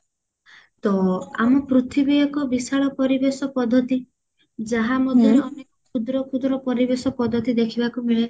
ତ ଆମ ପୃଥିବୀ ଏକ ବିଶାଳ ପରିବେଶ ପଦ୍ଧତି ଯାହା ମଧ୍ୟରେ ଆମେ କ୍ଷୁଦ୍ର କ୍ଷୁଦ୍ର ପରିବେଶ ପଦ୍ଧତି ଦେଖିବାକୁ ମିଳେ